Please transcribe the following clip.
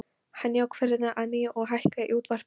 Hann jók ferðina að nýju og hækkaði í útvarpinu.